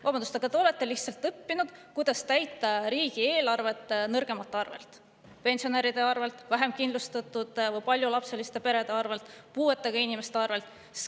Vabandust, aga te olete lihtsalt õppinud, kuidas täita riigieelarvet nõrgemate arvelt: pensionäride arvelt, vähemkindlustatute arvelt, paljulapseliste perede arvelt, puuetega inimeste arvelt.